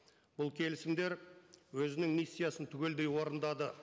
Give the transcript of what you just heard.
бұл келісімдер өзінің миссиясын түгелдей орындады